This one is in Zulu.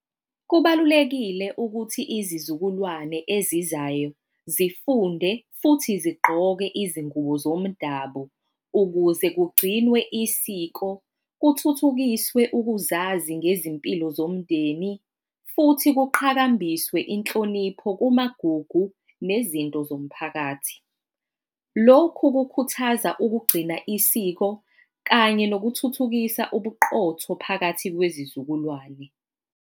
Kubalulekile ukuthi izizukulwane ezizayo zifunde futhi zigqoke izingubo zomdabu ukuze kugcinwe isiko, kuthuthukiswe ukuzazi ngezimpilo zomndeni, futhi kuqhakambiswe inhlonipho kumagugu nezinto zomphakathi. Lokhu kukhuthaza ukugcina isiko kanye nokuthuthukisa ubuqotho phakathi kwezizukulwane.